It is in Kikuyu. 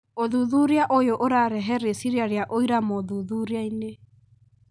ũthuthuria ũyũ ũrarehe rĩciria rĩa ũira mothuthuriainĩ .